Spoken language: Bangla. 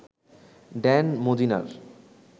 ড্যান মজীনার